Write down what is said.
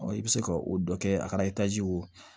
i bɛ se ka o dɔ kɛ a kɛra o